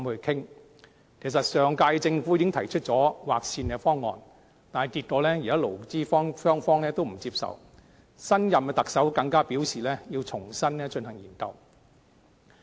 其實上屆政府已提出劃線方案，但結果勞資雙方也不接受，新任特首更表示要重新研究。